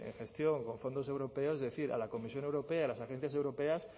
gestión con fondos europeos es decir a la comisión europea a las agencias europeas